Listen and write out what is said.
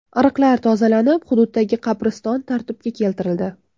Ariqlar tozalanib, hududdagi qabriston tartibga keltirildi.